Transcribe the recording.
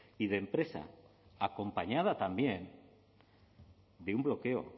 y de empresa acompañada también de un bloqueo